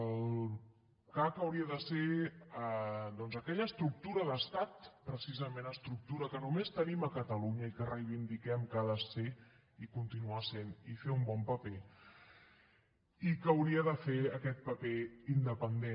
el cac hauria de ser doncs aquella estructura d’estat precisament estructura que només tenim a catalunya i que reivindiquem que ha de ser i continuar sent i fer un bon paper i que hauria de fer aquest paper independent